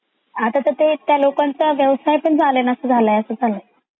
आता तर काय त्या लोकांचा व्यवसाय पण चालेनासा झालाय अस झालय.